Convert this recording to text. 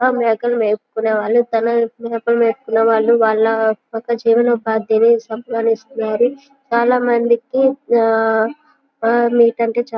ఆ మేకలు మేపుకునే వాళ్ళు తనలా మేకలు మేపుకునేవాళ్ళు వాళ్ళ యొక్క జీవనోపాధి కోసం సంపాదిస్తున్నారు చాలా మందికి ఆ ఆ మేకంటే చాలా --